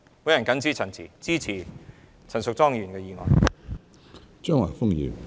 我謹此陳辭，支持陳淑莊議員的議案。